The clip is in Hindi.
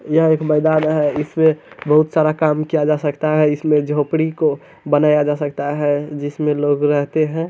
यह एक मैदान है इसमें बहुत सारा काम किया जा सकता है इसमें झोपड़ी को बनाया जा सकता है जिसमें लोग रहते है।